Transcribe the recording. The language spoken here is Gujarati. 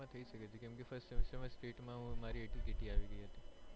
થઇ સકે છે કેમ કે first semester માં state મારે ATKT આવી ગઈ હતી.